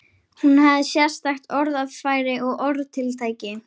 Hún hafði sérstakt orðfæri og orðatiltæki.